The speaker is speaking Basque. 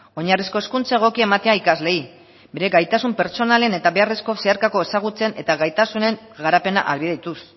oinarrizko hezkuntza egokia ematea ikasleei bere gaitasun pertsonalen eta beharrezko zeharkako ezagutzen eta gaitasunen garapena ahalbidetuz